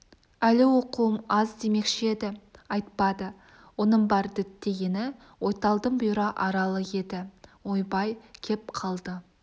әлі оқуым аз демекші еді айтпады оның бар діттегені ойталдың бұйра аралы еді ойбай кеп қалды